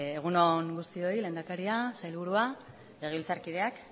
egun on guztioi lehendakaria sailburua legebiltzarkideak